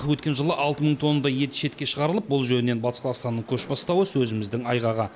өткен жылы алты мың тоннадай ет шетке шығарылып бұл жөнінен батыс қазақстанның көш бастауы сөзіміздің айғағы